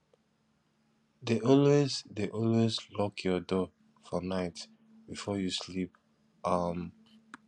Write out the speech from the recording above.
dey always dey always lock your door for night before you sleep um